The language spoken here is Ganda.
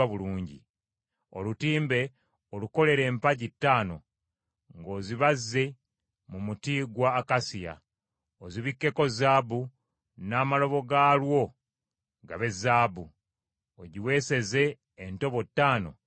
Olutimbe olukolere empagi ttaano ng’ozibazze mu muti gwa akasiya, ozibikkeko zaabu, n’amalobo gaalwo gabe zaabu; ogiweeseze entobo ttaano ez’ekikomo.”